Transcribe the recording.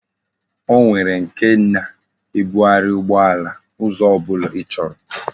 O nwere nke na ebughari ugbo ala, Uzo obula ichoro